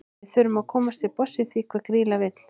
Við þurfum að komast til botns í því hvað Grýla vill.